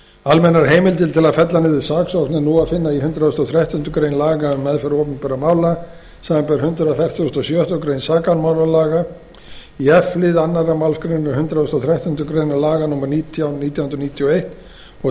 almennar heimildir til að fella niður saksókn er nú að finna í hundrað og þrettándu grein laga um meðferð opinberra mála samanber hundrað fertugasta og sjöttu grein sakamálalaga í f lið önnur málsgrein hundrað og þrettándu grein laga númer nítján nítján hundruð níutíu og eins og